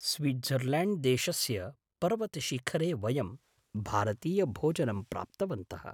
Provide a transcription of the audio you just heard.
Switzerland देशस्य पर्वतशिखरे वयं भारतीयभोजनं प्राप्तवन्तः।